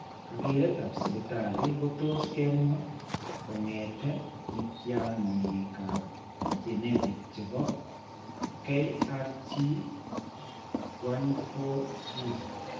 Kakeretap siptali ko tos' kemwa kong'ete mityaaniikap genetic che po KRT14 gene.